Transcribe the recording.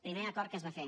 primer acord que es va fer